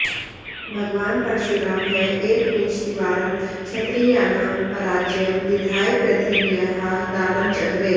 भगवान् परशुरामः एकविंशतिवारं क्षत्रियाणां पराजयं विधाय पृथिव्याः दानं चक्रे